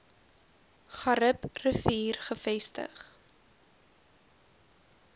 garib rivier gevestig